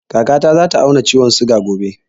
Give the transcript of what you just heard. Kaka ta za ta auna ciwon suga gobe